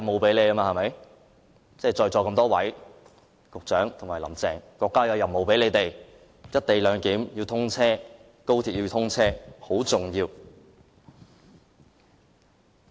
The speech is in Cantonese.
這是國家委派在席多位局長及"林鄭"的任務，達成"一地兩檢"，令高鐵可以通車，是很重要的。